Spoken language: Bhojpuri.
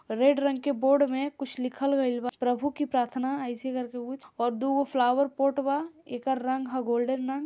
रेड रंग के बोर्ड में कुछ लिखल गइल बा प्रभु की प्राथना ऐसे ही करके कुछ और दुगो फ्लावर पॉट बा एकर रंग हा गोल्डन रंग।